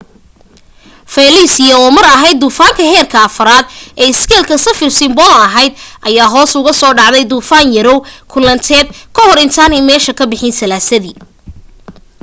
felicia oo mar ahayd duufaanka heerka 4 ee iskeelka saffir-simpson ahayd ayaa hoos ugu soo dhacday duufaan yaraw kulaaleed ka hor intaanay meesha ka bixin salaasadii